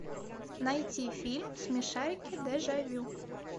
найти фильм смешарики дежавю